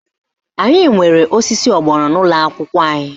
Anyị nwere osisi ọgbọnọ n'ụlọakwụkwọ anyị